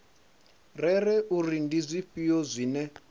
rere uri ndi zwifhio zwine